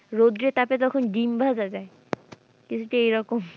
রোদ্রে তাপে যখন ডিম্ ভাজা যাই কিছুটা এইরকম।